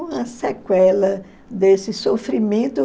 Uma sequela desse sofrimento.